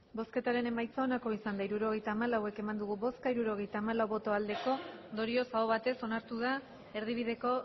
hirurogeita hamalau eman dugu bozka hirurogeita hamalau bai ondorioz aho batez onartu da erdibideko